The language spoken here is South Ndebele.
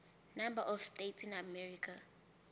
number of states in america